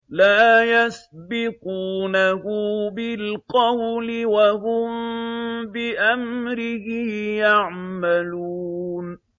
لَا يَسْبِقُونَهُ بِالْقَوْلِ وَهُم بِأَمْرِهِ يَعْمَلُونَ